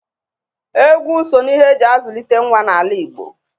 Egwu so n'ihe e ji azụlite nwa n'ala Igo